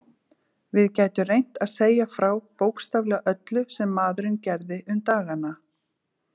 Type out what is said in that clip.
Við gætum reynt að segja frá bókstaflega öllu sem maðurinn gerði um dagana.